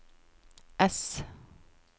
S